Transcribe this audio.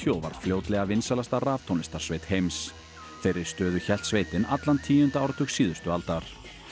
og varð fljótlega vinsælasta heims þeirri stöðu hélt sveitin allan tíunda áratug síðustu aldar